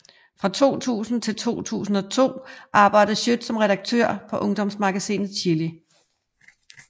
Fra 2000 til 2002 arbejdede Schøt som redaktør på ungdomsmagasinet Chili